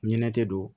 Ɲinɛ te don